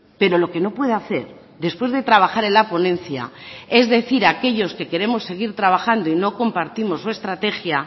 pero lo que no puede hacer después de trabajar en la ponencia es decir a aquellos que queremos seguir trabajando y no compartimos su estrategia